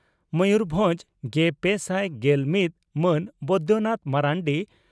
ᱢᱚᱭᱩᱨᱵᱷᱚᱸᱡᱽ ᱾ᱹᱜᱮᱯᱮᱥᱟᱭ ᱜᱮᱞ ᱢᱤᱛ ᱢᱟᱱ ᱵᱚᱭᱫᱚᱱᱟᱛᱷ ᱢᱟᱨᱱᱰᱤ